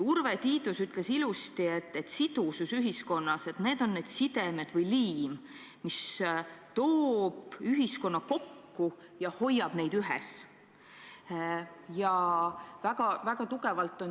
Urve Tiidus ütles ilusasti, et sidusus ühiskonnas on need sidemed või liim, mis toob ühiskonna kokku ja hoiab kõike ühes.